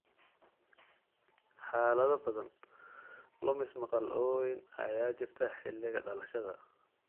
Xaalado badan, lumis maqal oo weyn ayaa jirta xilliga dhalashada.